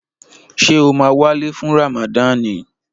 Ṣé o máa wálé fún Ràmàdani?